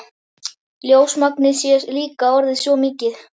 Ljósmagnið sé líka orðið svo mikið.